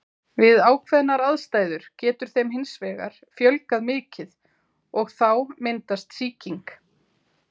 Við ákveðnar aðstæður getur þeim hins vegar fjölgað mikið og þá myndast sýking.